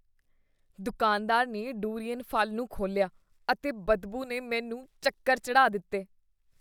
ਦੁਕਾਨਦਾਰ ਨੇ ਡੁਰੀਅਨ ਫ਼ਲ ਨੂੰ ਖੋਲ੍ਹਿਆ ਅਤੇ ਬਦਬੂ ਨੇ ਮੈਨੂੰ ਚੱਕਰ ਚੜ੍ਹਾਅ ਦਿੱਤੇ।